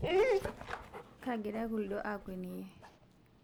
kagira kuldo akweniyie